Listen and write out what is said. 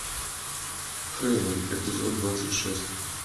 хейвен эпизод двадцать шесть